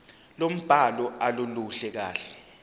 lombhalo aluluhle kahle